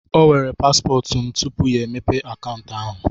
O weere paspọtụ m tupu ya emepe akaụntụ ahụ.